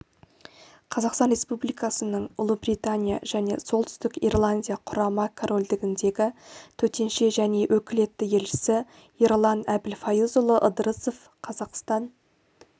қазақстан республикасының ұлыбритания және солтүстік ирландия құрама корольдігіндегі төтенше және өкілетті елшісі ерлан әбілфайызұлы ыдырысов қазақстан